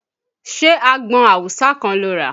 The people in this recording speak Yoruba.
Ṣé àgbọn awùsá kan lo rà?